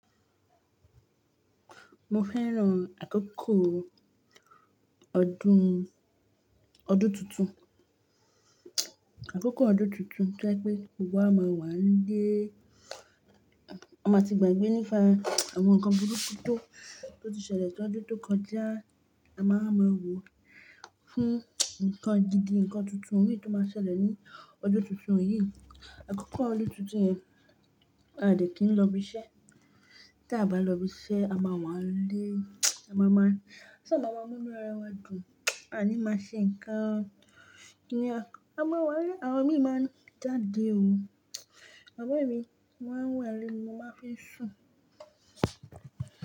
Mo fẹ́ràn àkókò ọdún, ọdún tuntun. Àkókò ọdún tuntun jẹ́ pé gbogbo wa máa wà nílé, a máa tì gbàgbé nípa àwọn nǹkan burúkú tó, tó ti ṣẹlẹ̀ lọ́dún tó kọjá, a máa máa wò ó fún nǹkan gidi, nǹkan tuntun mìí tó máa ṣẹlẹ̀ ní ọdún tuntun yìí. Àkókò ọdún tuntun yẹn a dẹ̀ kì n lọ ibiṣẹ́. Tí a bá lọ ibiṣẹ́, a máa wà nílé, a máa máa-- a máa mú inú ara wa dùn, a ní máa ṣe nǹkan. Kíni a máa wà nílé, àwọn mi máa ń jáde o. Àmọn emi mo ma n wà nílé, mo máa ń fii sùn.